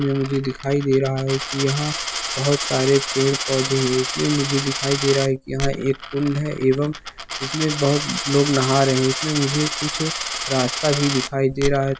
इसमें मुझे दिखाई दे रहा है की यहाँ बहुत सारे पेड़-पौधे हैं इसमें मुझे दिखाई दे रहा की यहाँ एक कुंड हैएवं इसमें बहुत लोग नहा रहें हैं इसमें मुझे कुछ रास्ता भी दिखाई दे रहा है।